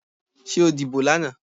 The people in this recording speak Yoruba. Ṣé o dìbò lánàá.